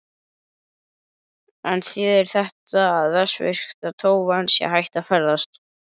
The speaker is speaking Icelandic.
En þýðir þetta að vestfirska tófan sé hætt að ferðast?